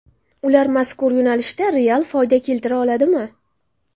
Ular mazkur yo‘nalishda real foyda keltira oladimi?